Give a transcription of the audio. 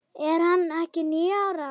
Er hann ekki níu ára?